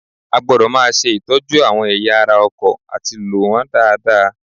A gbọdọ̀ máa ṣe ìtọ́jú àwọn ẹ̀yà ara ọkọ̀ àti lò wọ́n dáadáa